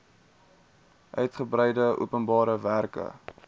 uigebreide openbare werke